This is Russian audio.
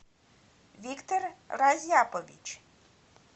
виктор разяпович